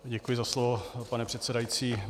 Děkuji za slovo, pane předsedající.